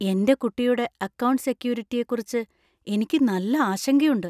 എന്‍റെ കുട്ടിയുടെ അക്കൗണ്ട് സെക്യൂരിറ്റിയെക്കുറിച്ച് എനിക്ക് നല്ല ആശങ്കയുണ്ട് .